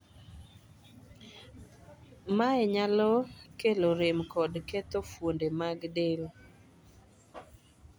Mae nyalo kelo rem kod ketho fuonde mag del.